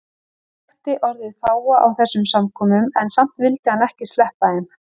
Hann þekkti orðið fáa á þessum samkomum en samt vildi hann ekki sleppa þeim.